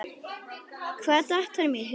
Hvað datt honum í hug?